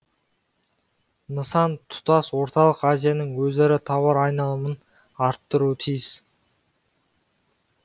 нысан тұтас орталық азияның өзара тауар айналымын арттыруы тиіс